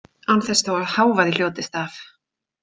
Án þess þó að hávaði hljótist af.